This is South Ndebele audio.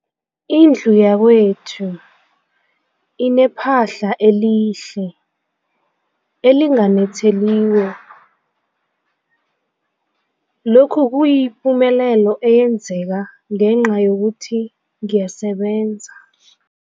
Indlu yakwethu inephahla elihle, elinganetheliko, lokhu kuyipumelelo eyenzeke ngenca yokuthi ngiyasebenza.